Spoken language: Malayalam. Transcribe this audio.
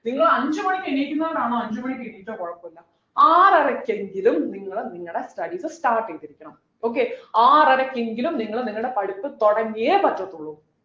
നിങ്ങൾ അഞ്ചു മണിക്ക് എണീക്കുന്നവരാണോ അഞ്ചുമണിക്ക് എണീറ്റോ കുഴപ്പമില്ല ആറരയ്ക്ക് എങ്കിലും നിങ്ങള് നിങ്ങളുടെ studies start ചെയ്തിരിക്കണം okay ആറരയ്ക്ക് എങ്കിലും നിങ്ങള് നിങ്ങളുടെ പഠിപ്പ് തുടങ്ങിയെ പറ്റത്തുള്ളു